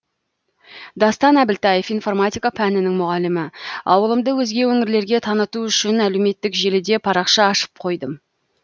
дастан әбілтаев информатика пәнінің мұғалімі ауылымды өзге өңірлерге таныту үшін әлеуметтік желіде парақша ашып қойдым